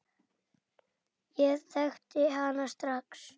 Ég þekkti hana strax.